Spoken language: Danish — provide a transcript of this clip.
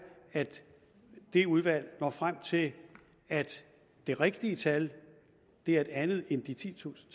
at det udvalg når frem til at det rigtige tal er et andet end de titusind